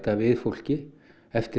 við fólki eftir